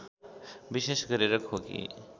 विशेष गरेर खोकी